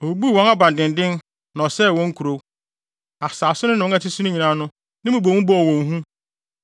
Obubuu wɔn abandennen na ɔsɛee wɔn nkurow. Asase no ne wɔn a wɔte so nyinaa no, ne mmubomu bɔɔ wɔn hu.